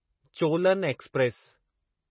Cholan express